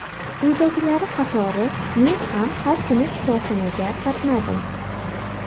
Uydagilari qatori men ham har kuni shifoxonaga qatnadim.